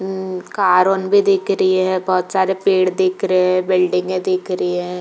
उ भी दिख रही है। बहोत (बहुत) सारे पेड़ दिख रहे है। बिल्डिंगे दिख रही है।